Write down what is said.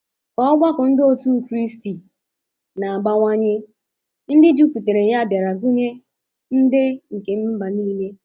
Ka ọgbakọ ndị otu Kraịst na-abawanye, ndị jupụtara ya bịara gụnye ndị nke mba nile.